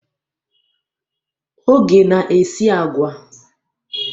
Oge na-esi agwa.